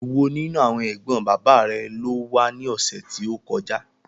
Èwo nínú àwọn ẹ̀gbọ́n bàbá rẹ ló wá ní ọ̀sẹ̀ tí ó kọjá?